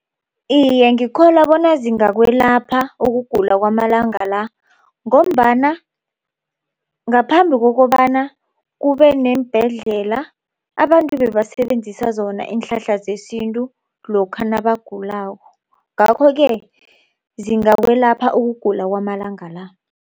Iye, ngikholwa bona zingakwelapha ukugula kwamalanga la. Ngombana ngaphambi kokobana kube neembhedlela abantu bebasebenzisa zona iinhlahla zesintu lokha nabagulako. Ngakho-ke zingakwelapha ukugula kwamalanga la.